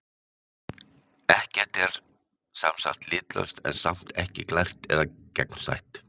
Ekkert er sem sagt litlaust, en samt ekki glært eða gegnsætt.